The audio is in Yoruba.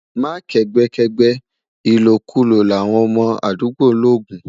má kẹgbẹ kẹgbẹ, ìlò kú lò là wọn mọ àdúgbò logun